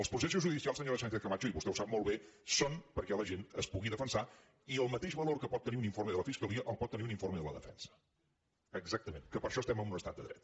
els processos judicials senyora sánchez·camacho i vostè ho sap molt bé són perquè la gent es pugui defensar i el mateix valor que pot tenir un informe de la fiscalia el pot tenir un informe de la defensa exacta·ment que per això estem en un estat de dret